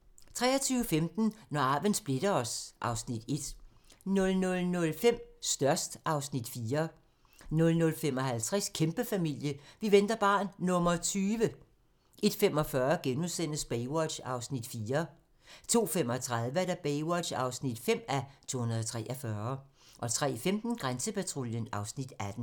23:15: Når arven splitter os (Afs. 1) 00:05: Størst (Afs. 4) 00:55: Kæmpefamilie - vi venter barn nr. 20! 01:45: Baywatch (4:243)* 02:35: Baywatch (5:243) 03:15: Grænsepatruljen (Afs. 18)